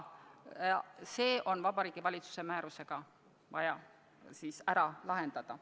See on Vabariigi Valitsuse määrusega vaja ära lahendada.